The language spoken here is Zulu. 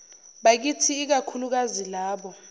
bakithi ikakhulukazi labo